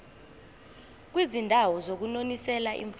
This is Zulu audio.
kwizindawo zokunonisela imfuyo